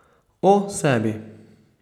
O sebi.